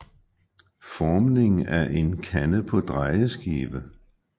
Formning af en kande på drejeskive